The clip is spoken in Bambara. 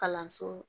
Kalanso